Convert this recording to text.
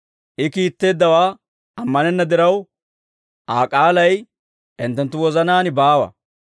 I kiitteeddawaa ammanenna diraw, Aa k'aalay hinttenttu wozanaan baawa.